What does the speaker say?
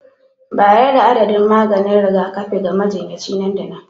Bayar da adadin maganin rigakafi ga majinyaci nan da nan